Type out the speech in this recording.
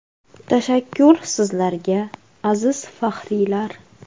Tashakkur sizlarga, aziz faxriylar!